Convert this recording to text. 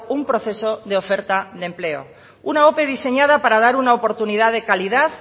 un proceso de oferta de empleo una ope diseñada para dar una oportunidad de calidad